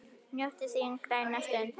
Njóttu þín á grænni grund.